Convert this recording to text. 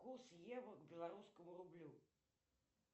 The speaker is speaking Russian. курс евро к белорусскому рублю